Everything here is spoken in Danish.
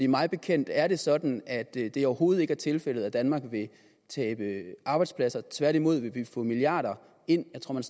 mig bekendt er det sådan at det det overhovedet ikke er tilfældet at danmark vil tabe arbejdspladser tværtimod vil vi få milliarder ind jeg tror at